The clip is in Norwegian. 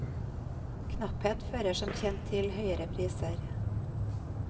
Knapphet fører som kjent til høyere priser.